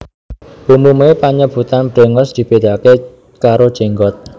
Umume panyebutan brengos dibedakake karo jenggot